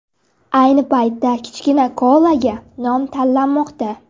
Ayni paytda kichkina koalaga nom tanlanmoqda.